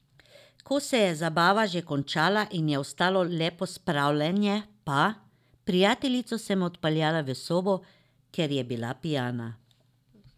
Ko se je zabava že končala in je ostalo le pospravljanje pa: "Prijateljico sem odpeljala v sobo, ker je bila pijana.